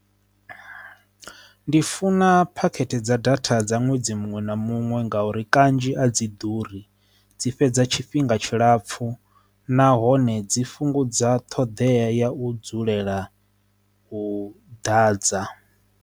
Ndi funa phakhethe dza data dza ṅwedzi muṅwe na muṅwe ngauri kanzhi a dzi ḓuri dzi fhedza tshifhinga tshilapfu nahone dzi fhungudza thodea ya u dzulela u ḓadza.